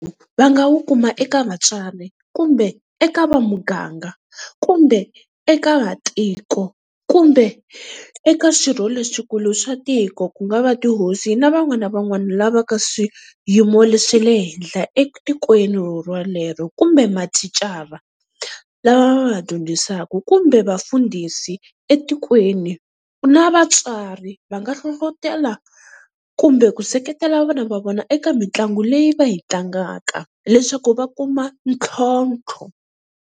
Va nga wu kuma eka vatswari kumbe eka vamuganga kumbe eka vatiko kumbe eka swirho leswikulu swa tiko ku nga va tihosi na van'wani na van'wani lava ka swiyimo leswi swa le henhla etikweni rorolero kumbe mathicara lava va va dyondzisaka kumbe vafundhisi etikweni na vatswari, va nga hlohlotelo kumbe ku seketela vana va vona eka mitlangu leyi va yi tlangaka leswaku va kuma ntlhontlho.